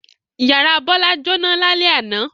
Ìyàrá Bọ́lá jóná lálẹ́ àná.